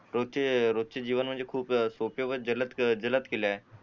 रोजचे रोजचे जीवन म्हणजे खूप सोपे व जलद केले आहे